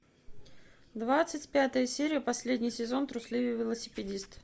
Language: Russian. двадцать пятая серия последний сезон трусливый велосипедист